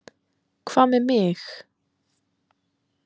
Hvað með mig?